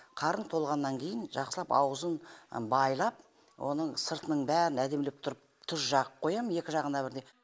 қарын толғаннан кейін жақсылап аузын байлап оның сыртының бәрін әдемілеп тұрып тұз жағып қоям екі жағына бірдей